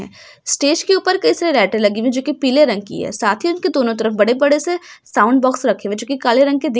Stage के ऊपर कैसी लाइट लगी हुई है जो की पीले रंग की है| साथ ही उनके दोनों तरफ बड़े-बड़े से साउंड बॉक्स रखे हैं जो कि काले रंग के दिख रहे हैं ।